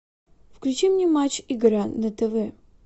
включи мне матч игра на тв